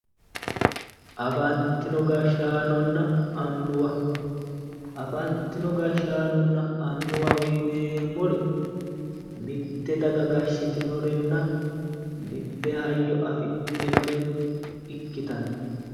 afantino gashshaanonna annuwa afantino gashshaanonna annuwaho yineemmori mitte daga gashshitinorenna mitte hayyo afidhinore ikkitanno.